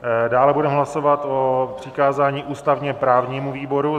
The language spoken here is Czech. Dále budeme hlasovat o přikázání ústavně-právnímu výboru.